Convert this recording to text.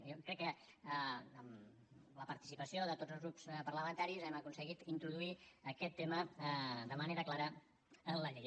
jo crec que amb la participació de tots els grups parlamentaris hem aconseguit introduir aquest tema de manera clara en la llei